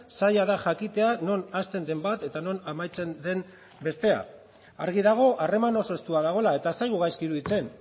zaila da jakitea non hasten den bat eta non amaitzen den bestea argi dago harreman oso estua dagoela eta ez zaigu gaizki iruditzen